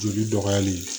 Joli dɔgɔyali